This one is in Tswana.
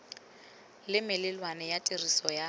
le melawana ya tiriso ya